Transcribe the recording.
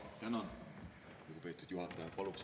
Tänan, lugupeetud juhataja!